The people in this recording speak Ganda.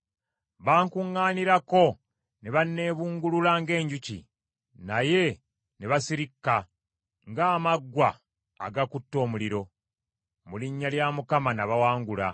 Bankuŋŋaanirako ne banneebungulula ng’enjuki; naye ne basirikka ng’amaggwa agakutte omuliro; mu linnya lya Mukama nabawangula.